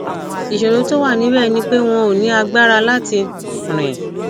ìṣòro tó wà níbẹ ni pé wọn ò ní agbára láti rìn